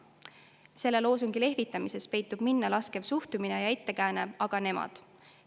Selle loosungiga lehvitamises peitub minnalaskev suhtumine ja ettekääne: "Aga nemad!